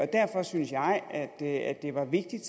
derfor synes jeg at at det var vigtigt